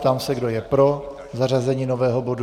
Ptám se, kdo je pro zařazení nového bodu.